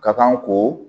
Ka kan ko